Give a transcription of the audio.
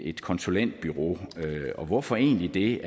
et konsulentbureau og hvorfor egentlig det